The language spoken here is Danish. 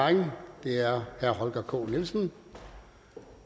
og det er herre holger k nielsen